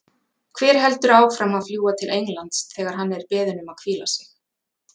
Hver heldur áfram að fljúga til Englands þegar hann er beðinn um að hvíla sig?